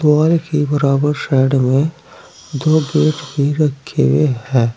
दीवार के बराबर साइड में दो गेट भी रखे हैं।